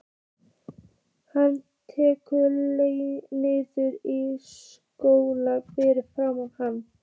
Hann lekur niður í stól fyrir framan hana.